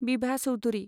Bibha Choudhury